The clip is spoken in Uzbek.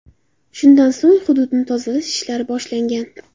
Shundan so‘ng hududni tozalash ishlari boshlangan.